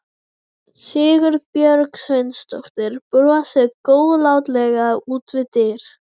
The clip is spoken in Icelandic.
Sigurbjörg Sveinsdóttir brosir góðlátlega út við dyr.